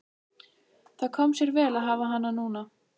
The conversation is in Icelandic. Það kom sér vel að hafa hana núna.